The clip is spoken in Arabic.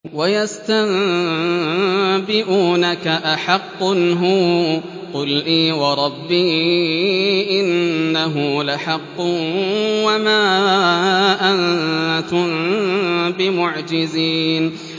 ۞ وَيَسْتَنبِئُونَكَ أَحَقٌّ هُوَ ۖ قُلْ إِي وَرَبِّي إِنَّهُ لَحَقٌّ ۖ وَمَا أَنتُم بِمُعْجِزِينَ